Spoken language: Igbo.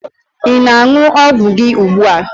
Ị na-aṅụ ọgwụ gị ugbua?